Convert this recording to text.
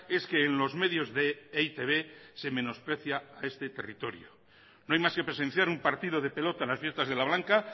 es que en los medios de e i te be se menosprecia a este territorio no hay más que presenciar un partido de pelota en las fiestas de la blanca